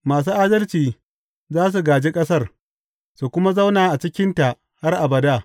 Masu adalci za su gāji ƙasar su kuma zauna a cikinta har abada.